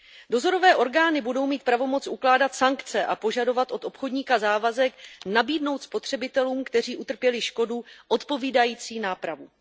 Dozorové orgány budou mít pravomoc ukládat sankce a požadovat od obchodníka závazek nabídnout spotřebitelům, kteří utrpěli škodu, odpovídající nápravu.